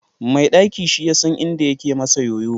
Mai ɗaki shiyasan inda yake masa ƴoƴo.